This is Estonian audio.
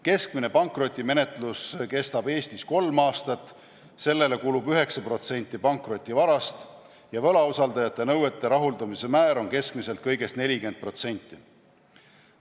Keskmine pankrotimenetlus kestab Eestis kolm aastat, sellele kulub 9% pankrotivarast ja võlausaldajate nõuete rahuldamise määr on keskmiselt kõigest 40%.